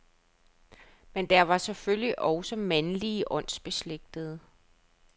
Men der var selvfølgelig også mandlige åndsbeslægtede.